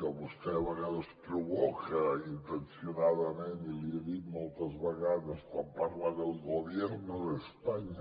que vostè a vegades provoca intencionadament i l’hi he dit moltes vegades quan parla del gobierno de españa